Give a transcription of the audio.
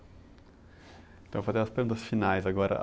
Então, vou fazer umas perguntas finais agora.